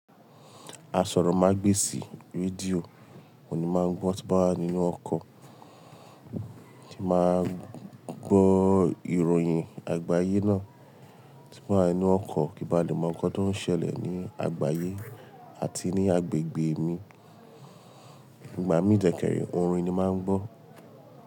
Aṣórómagbesì rédíò oun ni máa ń gbọ́ tí nbá wa nínú ọkọ̀, tí máa gbọ́ ìròhìn àgbáyé náà, tí nba wa ninú ọkọ̀ kí bá lè mọ nǹkan tó ń ṣẹlẹ̀ ní àgbáyé àti ní agbègbè mi. Ìgbà mii de kẹre orin ni máa ń gbọ́.